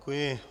Děkuji.